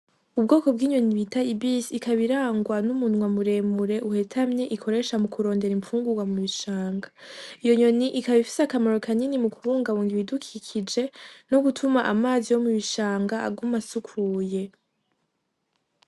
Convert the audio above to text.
Ubwoko bw'inyoni bita ibisi, ikaba irangwa n'umunwa muremure uhetamye ikoresha mukurondera infungurwa mubishanga, iyo nyoni ikaba ifise akamaro mu kubungabunga ibidukikije no gutuma amazi yo mubishanga aguma asukuye.